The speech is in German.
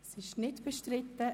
– Dies ist nicht der Fall.